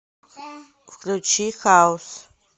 включи хаус